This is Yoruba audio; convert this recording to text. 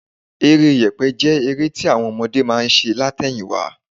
Eré yẹ̀pẹ̀ jẹ́ eré tí àwọn ọmọdé máa ń ṣe lát̀ẹyìn wá